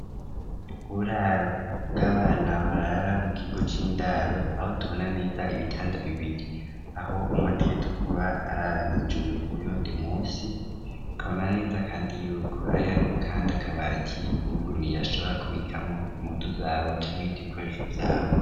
Uburaro bw'abana, barara mu kigo c'indaro, aho tubona neza, ibitanda bibiri, aho umwe ategerezwa, kuba arara hejuru, uyundi munsi; tukabona neza, kandi y'uko, hari hariho, kandi akabati, uwuguruye ashobora, kubikamwo impuzu zabo, canke ibindi bikoresho, vyabo.